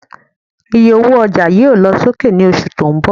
Ìyé ọwọ ọjà yóò lọ sókè ní oṣù tó ń bò